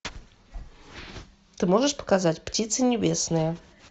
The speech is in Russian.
ты можешь показать птицы небесные